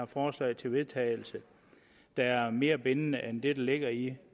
forslag til vedtagelse der er mere bindende end det der ligger i